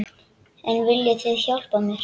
En viljið þið hjálpa mér?